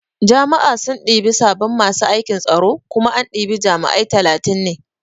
Jami'a sun ɗibi sabin masu aikin tsaro kuma an ɗibi jami'ai talatin ne